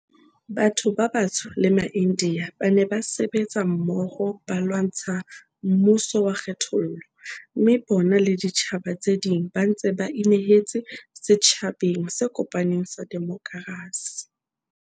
Batho ba batsho le maIndiya ba ne ba sebetsa mmoho ba lwantsha mmuso wa kgethollo, mme bona le ditjhaba tse ding ba ntse ba inehetse setjha beng se kopaneng sa demokrasi.